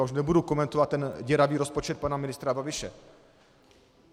A už nebudu komentovat ten děravý rozpočet pana ministra Babiše.